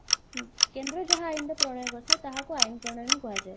ଉଁ କେନ୍ଦ୍ର ଯାହା ଆଇନର ପ୍ରଣୟ କରିଥିବ ତାହାକୁ ଆଇନ ପ୍ରଣଯନ କୁହାଯାଏ